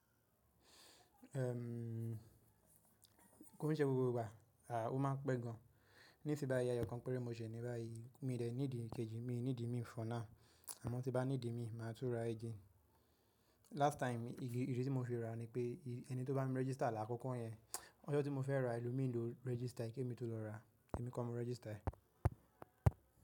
Erm, kò n ṣé gbogbo igba, ó máa pẹ́ gan. Nísìn báyí eyọ̀ kan pẹ̀re mó ṣẹ̀ ni níbàyí, mi dẹ̀ nídì i kejì, mi nídì mí for now. Àmọ́ tí bá nídì mi mà tún rá again Last time, ìdí tí mó fi rà nipé ẹni tó bá mí register lá àkọ́kọ́ yẹn. Ọjọ́ tí mó fẹ́ rà, èlòmí ló register kí èmí tó lọ rà, èmí kọ́ mó register.